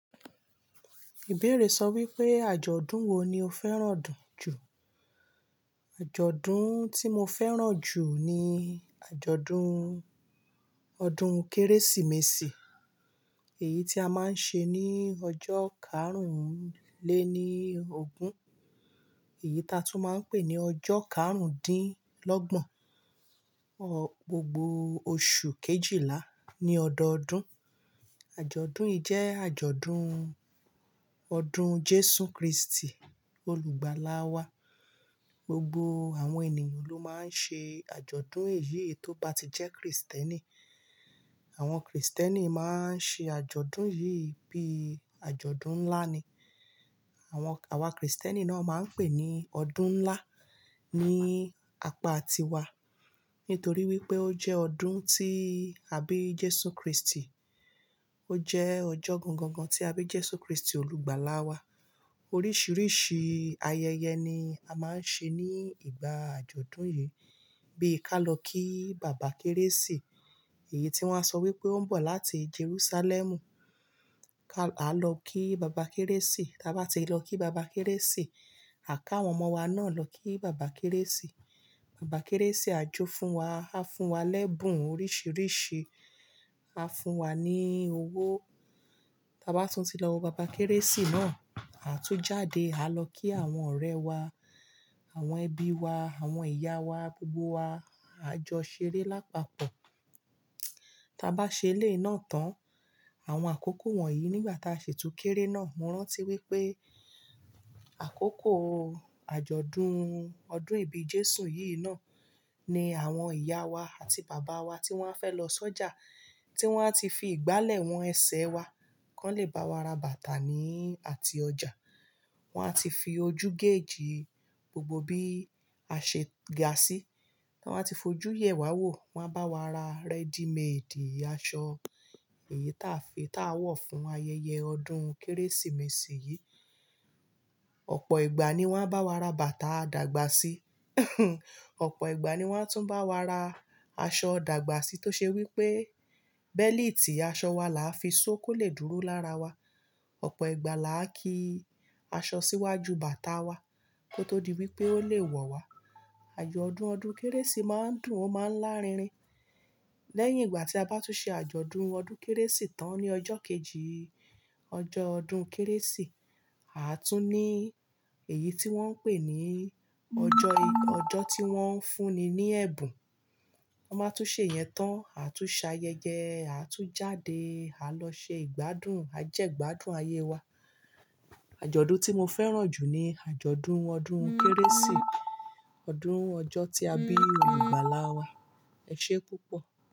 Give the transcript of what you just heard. Ìbéèrè sọ wípé àjọ̀dún wo ni o fẹ́ràn jù? Àjọ̀dún tí mo fẹ́ràn jù ni àjọ̀dún ọdún Kérésìmesì, èyí tí a máa ń ṣe ní ọjọ́ karùn-ún le ní ọgún, èyí taa tún máa ń pè ní ọjọ́ karùn-dín-lọ́gbọ̀n, gbogbo oṣù kejìlá ní ọdọọdún. Àjọ̀dún yìí jẹ́ àjọ̀dún ọdún Jésù Kristi olùgbàlà wá. Gbogbo àwọn ènìyàn ló máa ń ṣe àjọ̀dún èyí to ba ti jẹ́ Kristẹni. Àwọn Kristẹni máa ń ṣe àjọ̀dún yìí bí àjọ̀dún ńlá ni. Àwọn, àwa Kristẹni náà máa ń pè ní ọdún ńlá ní apá tiwa. Nítorí wípé ó jẹ́ ọdún tí àbí Jésù Kristi. Ó jẹ́ ọjọ́ gangan tí àbí Jésù Kristi olùgbàlà wá. Oríṣìíríṣìí ayẹyẹ ni a máa ń ṣe ní ìgbà àjọ̀dún yìí. Bí i ká lọ kí bàbá Kérésì, èyí tí wón á sọ wípé ó ń bọ̀ láti Jerúsálẹ́mù. Ká, àá lọ kí bàbá Kérésì, táa bá ti lọ kí bàbá Kérésì, à ká àwọn ọmọ wa náà lọ kí bàbá Kérésì. Bàbá Kérésì a jó fún wa, a fún wa lẹ́bùn oríṣìíríṣìí, a fún wa ní owó. Táa bá tún ti lọ wo bàbá Kérésì náà, àtún jáde, à lọ kí àwọn ọ̀rẹ́ wa, àwọn ẹbí wa, àwọn ìyá wa, gbogbo wa, a jọ ṣeré lápapọ̀. Táa bá ṣe ilé náà tán, àwọn àkókò wọ̀nyí nígbà táa ṣi tún kéré náà, mo rántí wípé àkókò àjọ̀dún ọdún ìbí Jésù yìí náà ni àwọn ìyá wa àti bàbá wa tí wọn á fẹ́ lọ sọ́jà, tí wón á ti fi ìgbálẹ̀ wọn ẹsẹ̀ wa kàn lè bá wa ra bàtà ni àti ọjà. Wón á ti fi ojú geejì gbogbo bí a ṣe ga sí. Wón á ti fojú yẹ̀ wá wò, wón á bá wa ra ready made aṣọ, èyí táa fi, táa wọ̀ fún ayẹyẹ ọdún Kérésìmesì yìí. Ọ̀pọ̀ ìgbà ni wọn á bá wa ra bàtà dàgbà sí. Ọ̀pọ̀ ìgbà ni wón á tún bá wa ra aṣọ dàgbà sí tó ṣe wípé, bẹ́líìtì aṣọ wa là á fi ṣó kó lè dúró lára wa. Ọ̀pọ̀ ìgbà là á ki aṣọ síwájú bàtà wa kó tó di wípé ó lè wọ̀ wá. Àjọ̀dún ọdún Kérésì máa ń dùn, ó máa ń lárinrin. Lẹ́yìn ìgbà tí a bá tún ṣe àjọ̀dún ọdún Kérésì tán ní ọjọ́ kejì ọjọ́ ọdún Kérésì, àtún ní èyí tí wón ń pè ní ọjọ́, ọjọ́ tí wón ń fún ni ní ẹ̀bùn. Tọ́n bá tún ṣe ìyẹn tán, àtún ṣayẹyẹ, àtún jáde, à lọ ṣe ìgbádùn, à jẹ́ gbádùn ayé wa. Àjọ̀dún tí mo fẹ́ràn jù ni àjọ̀dún ọdún Kérésì, ọdún ọjọ́ tí àbí olùgbàlà wá. Ẹ ṣe púpọ̀.